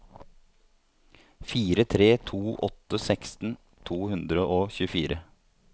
fire tre to åtte seksten to hundre og tjuefire